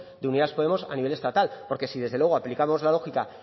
de unidas podemos a nivel estatal porque si desde luego aplicamos la lógica